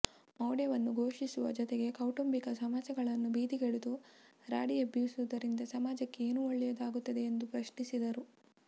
ಮೌಢ್ಯವನ್ನು ಪೋಷಿಸುವ ಜೊತೆಗೆ ಕೌಟುಂಬಿಕ ಸಮಸ್ಯೆಗಳನ್ನು ಬೀದಿಗೆಳೆದು ರಾಡಿ ಎಬ್ಬಿಸುವುದರಿಂದ ಸಮಾಜಕ್ಕೆ ಏನು ಒಳ್ಳೆಯದು ಆಗುತ್ತದೆ ಎಂದು ಪ್ರಶ್ನಿಸಿದರು